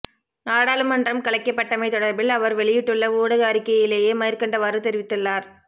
நாடாளுமன்றம் கலைக்கப்பட்டமை தொடர்பில் அவர் வெளியிட்டுள்ள ஊடக அறிக்கையிலே மேற்கண்டவாறு தெரிவித்துள்ளார்